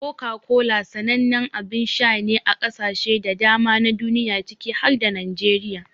Coca-Cola sanannen abin sha ne a kasashe da dama na duniya ciki har da Najeriya.